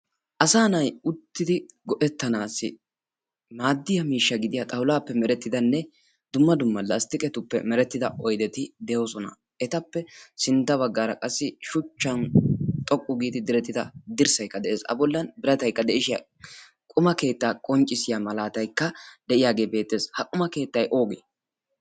asa nai uttidi go7ettanaassi maaddiya miishsha gidiya xawulaappe merettidanne dumma dumma lasttiqetuppe merettida oideti de7oosona. etappe sintta baggaara qassi shuchchan xoqqu giidi direttida dirssaikka de7ees a bollan birataikka de7ishiya quma keettaa qonccissiya malaataikka de7iyaagee beettees. ha quma keettai oogee?